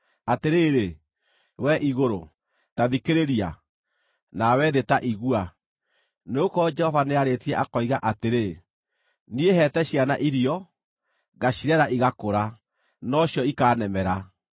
Atĩrĩrĩ, wee igũrũ, ta thikĩrĩria! Nawe thĩ ta igua! Nĩgũkorwo Jehova nĩarĩtie akoiga atĩrĩ: “Niĩ heete ciana irio, ngacirera igakũra, no cio ikaanemera.